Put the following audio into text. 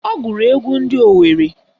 Ọ gụrụ egwu ndị Owerre